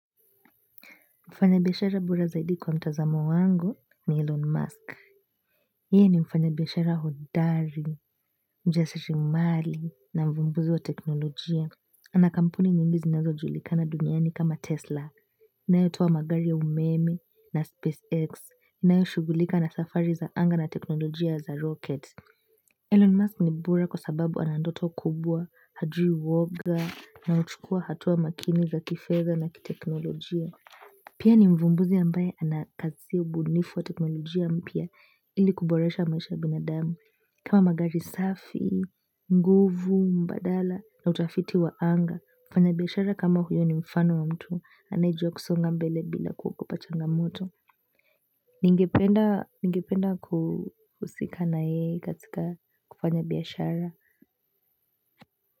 Mfanya biashara bora zaidi kwa mtazamo wangu ni Elon Musk. Hii ni mfanya biashara hodari, mjasirimali, na mvumbuzi wa teknolojia. Ana kampuni nyingi zinazojulikana duniani kama Tesla. Inayotoa magari ya umeme na SpaceX. Inayoshugulika na safari za anga na teknolojia za rocket. Elon Musk ni bora kwa sababu ana ndoto kubwa, hajui woga, na uchukua hatua makini za kifedha na kiteknolojia. Pia ni mvumbuzi ambaye anakazi ubunifu wa teknolojia mpya ili kuboresha maisha binadamu. Kama magari safi, nguvu, mbadala na utafiti wa anga, mfanya biashara kama huyo ni mfano wa mtu anayejua kusonga mbele bila kuogopa changa moto. Ningependa kuhusika na yeye katika kufanya biashara.